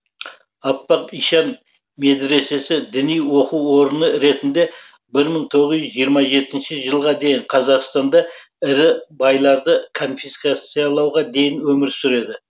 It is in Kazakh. аппақ ишан медресесі діни оқу орыны ретінде бір мың тоғыз жүз жиырма жетінші жылға дейін қазақстанда ірі байларды конфискациялауға дейін өмір сүреді